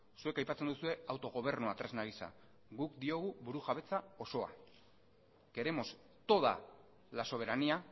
zuek aipatzen duzue autogobernua tresna gisa guk diogu burujabetza osoa queremos toda la soberanía